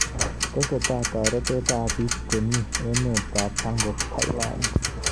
Tesetai torotet ab bik chebmi emet ab Pangok Thailand.